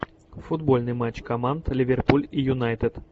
футбольный матч команд ливерпуль и юнайтед